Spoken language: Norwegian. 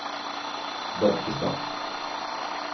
Barkestad